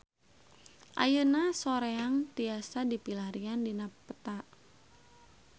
Ayeuna Soreang tiasa dipilarian dina peta